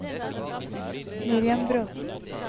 Miriam Bråthen